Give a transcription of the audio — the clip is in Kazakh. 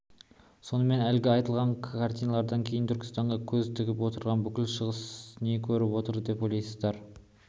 сонымен әлгі айтылған картиналардан кейін түркістанға көз тігіп отырған бүкіл шығыс не көріп отыр деп ойлайсыздар